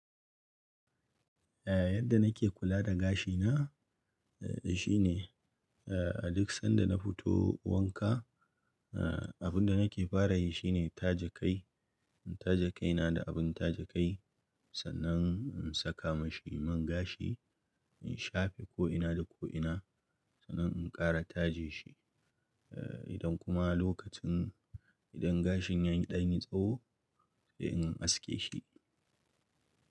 Eh yadda nake kula da gashina, eh shine eh a duk sanda na fito wanka, eh abun da nake fara yi shine tace kai. In tace kaina da abun tace kai, sannan in saka mashi man gashi, in shafe ko'ina da ko'ina, sannan in ƙara taje shi. Eh idan kuma lokacin, idan gashin ya yi ɗan yi tsawo, sai in aske shi.